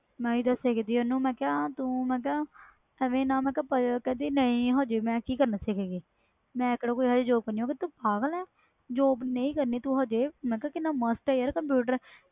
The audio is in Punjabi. ਮੈਂ ਹੀ ਦਸਿਆ ਓਹਨੂੰ ਤੂੰ ਐਵੇ ਨਾ puzzel ਹੋਇਆ ਕਰ ਕਹਿੰਦੀ ਮੈਂ ਕਿ ਕਰਨਾ ਅਜੇ ਸਿੱਖ ਕੇ ਮੈਂ ਕਿਹੜੀ ਏਵੈ ਦੀ job ਕਰਨੀ ਮੈਂ ਕਿਹਾ ਤੂੰ ਪਗਲ ਆ job ਨਹੀਂ ਕਰਨੀ ਅਜੇ